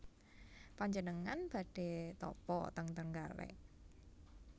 Panjenengan badhe tapa ten Trenggalek?